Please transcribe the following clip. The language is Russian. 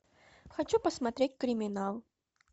хочу посмотреть криминал